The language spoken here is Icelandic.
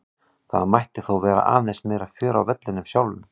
Það mætti þó vera aðeins meira fjör á vellinum sjálfum.